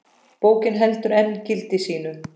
Bókin heldur enn gildi sínu.